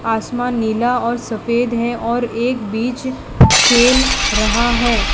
आसमान नीला और सफेद है और एक बीच खेल रहा है।